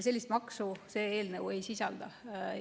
Sellist maksu see eelnõu ei sisalda.